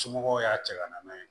Somɔgɔw y'a cɛ ka na n'a ye